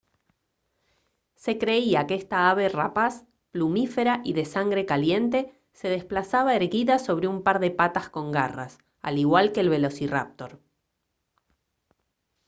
se creía que esta ave rapaz plumífera y de sangre caliente se desplazaba erguida sobre un par de patas con garras al igual que el velociráptor